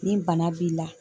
Ni bana b'i la